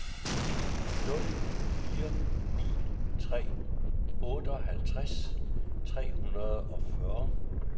nul fire ni tre otteoghalvtreds tre hundrede og fyrre